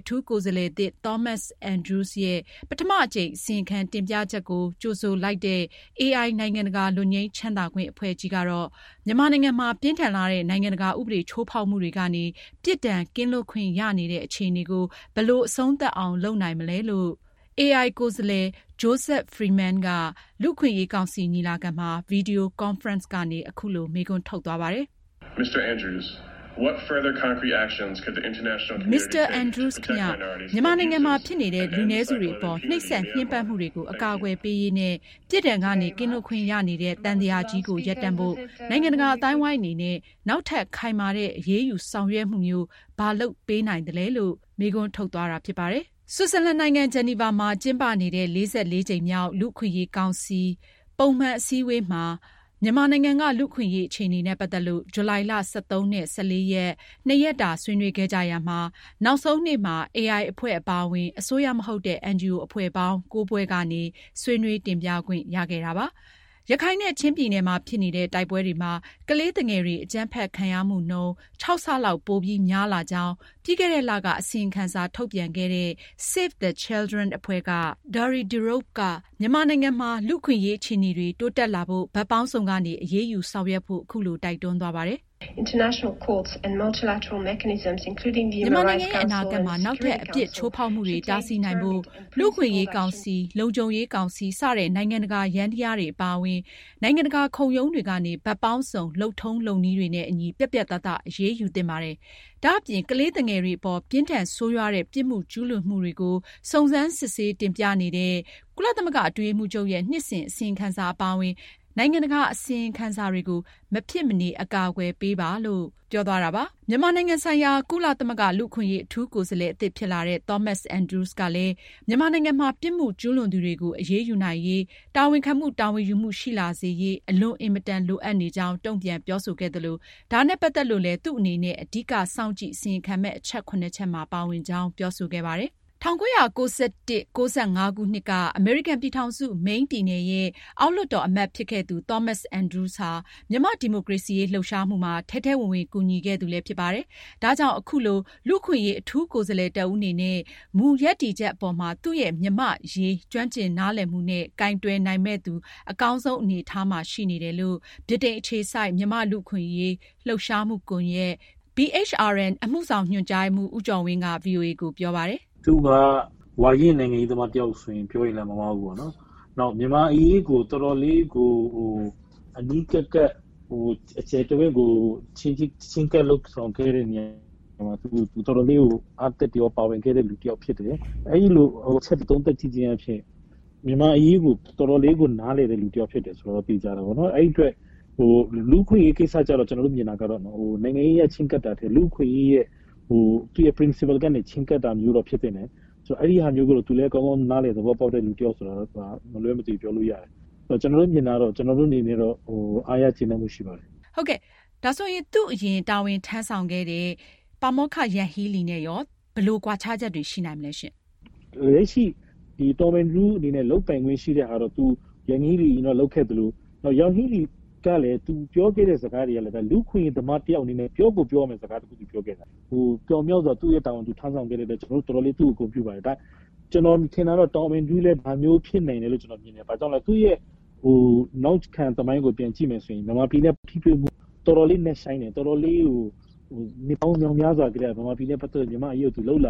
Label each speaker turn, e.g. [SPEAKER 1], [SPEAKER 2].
[SPEAKER 1] အထူးကိုယ်စားလှယ်သစ် Thomas Andrews ရဲ့ ပထမအကြိမ် အစီရင်ခံတင်ပြချက်ကို ကြိုဆိုလိုက်တဲ့ AI နိုင်ငံတကာလွတ်ငြိမ်းချမ်းသာခွင့် အဖွဲ့ကြီးကတော့ မြန်မာနိုင်ငံမှာ ပြင်းထန်လှတဲ့ နိုင်ငံတကာဥပဒေချိုးဖောက်မှုတွေကနေ ပြစ်ဒဏ်ကင်းလွတ်ခွင့်ရနေတဲ့ အခြေအနေကို ဘယ်လို အဆုံးသတ်အောင် လုပ်နိုင်မလဲလို့AI ကိုယ်စားလှယ် Mr. Joseph Freeman က လူ့အခွင့်အရေးကောင်စီ ညီလာခံမှာ ဗွီဒီယို ကွန်ဖရင့် ကနေ အခုလို မေးခွန်းထုတ်သွားပါတယ်။ "Mr Andrews ခင်ဗျား မြန်မာနိုင်ငံမှာ ဖြစ်နေတဲ့ လူနည်းစုတွေအပေါ် နှိပ်စက်ညှဉ်းပန်းမှုတွေကို အကာအကွယ်ပေးရေးနဲ့ ပြစ်ဒဏ်ကနေ ကင်းလွတ်ခွင့်ရနေတဲ့ သံသရာကြီးကို ရပ်တန့်ဖို့နိုင်ငံတကာ အသိုင်းအဝိုင်းအနေနဲ့ နောက်ထပ် ခိုင်မာတဲ့ အရေးဆောင်ရွက်မှုမျိုး ဘာလုပ်ပေးနိုင်သလဲ။" ဆွစ်ဇာလန်နိုင်ငံ ဂျီနီဗာမှာ ကျင်းပနေတဲ့ ၄၄ ကြိမ်မြောက် လူ့အခွင့်အရေးကောင်စီ ပုံမှန် အစည်းအဝေးမှာ မြန်မာနိုင်ငံက လူ့အခွင့်အရေးအခြေအနေနဲ့ ပတ်သက်လို့ ဇူလိုင်လ ၁၃၊ ၁၄ ရက် နှစ်ရက်တာ ဆွေးနွေးခဲ့ကြရာမှာ နောက်ဆုံးနေ့မှာ AI အဖွဲ့ အပါအဝင် အစိုးရမဟုတ်တဲ့ NGO အဖွဲ့ ၉ဖွဲ့ကနေ ဆွေးနွေးတင်ပြခွင့်ရခဲ့တာပါ။ ရခိုင်နဲ့ ချင်းပြည်နယ်မှာ ဖြစ်နေတဲ့ တိုက်ပွဲတွေမှာ ကလေးသူငယ်တွေ အကြမ်းဖက်ခံရမှုနှုန်း ခြောက်ဆလောက် ပိုများလာကြောင်း ပြီးခဲ့တဲ့လက အစီရင်ခံစာ ထုတ်ပြန်ခဲ့တဲ့ Save the Children အဖွဲ့က Ms. Diarra Diop ကလည်း မြန်မာနိုင်ငံမှာ လူ့အခွင့်အရေးအခြေအနေတွေ တိုးတက်လာဖို့ ဘက်ပေါင်းစုံကနေ အရေးယူဆောင်ရွက်ဖို့ အခုလို တိုက်တွန်းသွားပါတယ်။ " မြန်မာနိုင်ငံရဲ့ အနာဂတ်မှာ နောက်ထပ် ချိုးဖောက်မှုတွေ တားဆီးနိုင်ဖို့ လူ့အခွင့်အရေး ကောင်စီ၊လုံခြုံရေးကောင်စီ စတဲ့ နိုင်ငံတကာ ယန္တရားတွေအပါအဝင် နိုင်ငံတကာ ခုံရုံးတွေကနေ ဘက်ပေါင်းစုံ လုပ်ထုံးလုပ်နည်းတွေနဲ့အညီ ပြတ်ပြတ်သားသား အရေးယူသင့်ပါတယ်။ ဒါအပြင် ကလေးသူငယ်တွေအပေါ် ပြင်းထန်၊ ဆိုးရွားတဲ့ ပြစ်မှုကျူးလွန်မှုတွေကို စုံစမ်းစစ်ဆေးတင်ပြနေတဲ့ ကုလသမဂ္ဂအတွင်းရေးမှူးချုပ်ရဲ့ နှစ်စဉ် အစီရင်ခံစာ အပါအဝင် နိုင်ငံတကာ အစီရင်ခံစာတွေကို မဖြစ်မနေ အကာအကွယ်ပေးပါ။" မြန်မာနိုင်ငံဆိုင်ရာ ကုလသမဂ္ဂ လူ့အခွင့်အရေး အထူးကိုယ်စားလှယ် အသစ်ဖြစ်လာတဲ့ Thomas Andrews ကလည်း မြန်မာနိုင်ငံမှာ ပြစ်မှုကျူးလွန်သူတွေကို အရေးယူနိုင်ရေး၊ တာဝန်ခံမှု၊ တာဝန်ယူမှု ရှိလာစေရေး အလွန်အင်မတန် လိုအပ်နေကြောင်း တုံ့ပြန်ပြောဆိုခဲ့သလို ဒါနဲ့ ပတ်သက်လို့လည်း သူ့အနေနဲ့ အဓိက စောင့်ကြည့် အစီရင်ခံမယ့် အချက် (၇)ချက်မှာ ပါဝင်ကြောင်း ပြောဆိုခဲ့ပါတယ်။ ၁၉၉၁- ၁၉၉၅ ခုနှစ်အမေရိကန်ပြည်ထောင်စု Maine ပြည်နယ်ရဲ့ အောက်လွှတ်တော်အမတ်ဖြစ်ခဲ့သူ Thomas Andrews ဟာ မြန်မာ့ဒီမိုကရေစီရေးလှုပ်ရှားမှုမှာ ထဲထဲဝင်ဝင်ကူညီခဲ့သူဖြစ်ပါတယ်။ ဒါကြောင့် အခုလို လူ့အခွင့်အရေး အထူးကိုယ်စားလှယ် တဦးအနေနဲ့ မူရပ်တည်ချက်အပေါ်မှာ သူ့ရဲ့မြန်မာ့အရေး ကျွမ်းကျင်နားလည်မှုနဲ့ ကိုင်တွယ်နိုင်မယ့်သူ အကောင်းဆုံးအနေအထားမှာ ရှိနေတယ်လို့ ဗြိတိန်အခြေစိုက် မြန်မာ့လူ့အခွင့်အရေး လှုပ်ရှားမှုကွန်ယက် BHRN အမှုဆောင်ညွန်ကြားရေးမှူး ဦးကျော်ဝင်းက ဗွီအိုအေကို ပြောပါတယ်။ "
[SPEAKER 2] သူဟာ ဝါရင့်နိုင်ငံရေးသမားတယောက်လို့ ပြောရင်လည်း မမှားဘူး။ နောက် မြန်မာ့အရေးကို တော်တော်လေး အနီးကပ် ချဉ်းကပ်လုပ်ဆောင်ခဲ့သူတယောက်လည်း ဖြစ်တယ်။ အဲဒါကို သုံးသပ်ကြည့်ရင် မြန်မာ့အရေးကို တော်တော်လေး နားလည်သူတဦးဖြစ်တယ်ဆိုတာ သေချာတယ်။ လူ့အခွင့်အရေး ကိစ္စကျတော့ နိုင်ငံရေးအရ ချဉ်းကပ်တာထက် ကျနော်တို့ မြင်တာကတော့ လူ့အခွင့်အရေးမူနဲ့ ချဉ်းကပ်တာမျိုးဖြစ်သင့်တယ်။ အဲဒါကို သူလည်း ကောင်းကောင်းနားလည် သဘောပေါက်တဲ့သူ တယောက်ဆိုတာတော့ မလွယ်မသွေပြောလို့ရတယ်။ ကျနော်တို့ကတော့ သူ့အပေါ် အားရ ကျေနပ်မှုရှိပါတယ်။"
[SPEAKER 1] မေး။ ။ သူ့အရင် တာဝန်ထမ်းဆောင်ခဲ့တဲ့ ပါမောက္ခ Yanghee Lee နဲ့ ရော ဘယ်လို ကွာခြားချက်တွေရှိနိုင်မလဲ။ ဖြေ
[SPEAKER 2] ။ ။ လက်ရှိ Thomas Andrew အနေနဲ့ လုပ်ပိုင်ခွင့်ရှိတဲ့ဘောင်အတွင်းက ယန်ဟီလီ တုန်းက လုပ်ခဲ့သလို၊ ယန်ဟီလီ တုန်းကလည်း သူပြောခဲ့တဲ့စကားတွေကလည်း လူ့အခွင့်အရေးသမားတဦး အနေနဲ့ ပြောကို ပြောသင့်တဲ့စကားတွေကို ပညာရှင် အနေနဲ့ ပြောသွားတာပါ။ ပြောင်မြောက်စွာ သူရဲ့ တာဝန်ကို ထမ်းဆောင်ခဲ့တဲ့အတွက် ကျနော်တို့တော်တော်လေး သူ့ကိုဂုဏ်ပြုပါတယ်။ ကျနော် မြင်တာကတော့ Thomas Andrews လည်း ဒါမျိုးပဲ ဖြစ်လိမ့်မယ်ထင်တယ်။ ဘာကြောင့်လည်း ဆိုတော့ သူ့ရဲ့နောက်ခံသမိုင်းကြောင်းကို ပြန်ကြည့်မယ်ဆိုရင် မြန်မာပြည်နဲ့ ထိတွေ့မှု တော်တော်လေး နက်ရှိုင်းတယ်။ အမေရိကန် ကွန်ဂရက်မှာလည်း မြန်မာပြည်နဲ့ ပတ်သက်လို့ တော်တော်